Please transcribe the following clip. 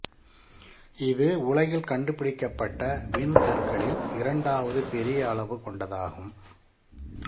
இது உலகில் கண்டுபிடிக்கப்பட்ட விண்கற்களில் இரண்டாவது பெரிய அளவு கொண்டதாகும்